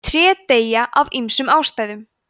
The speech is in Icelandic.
tré deyja af ýmsum ástæðum